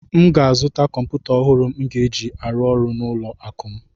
M ga-azụta kọmpụta ọhụrụ m ga-eji arụ ọrụ n'ụlọ akụ m